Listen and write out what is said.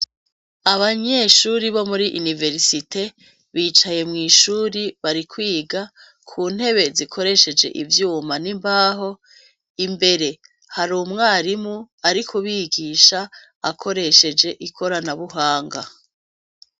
Abanyeshure bo muri université bicaye mw'ishuri bari kwiga kuntebe zikoresheje ivyuma n'imbaho, imbere hari umwarimu arikubigisha akoresheje ikorana buhanga.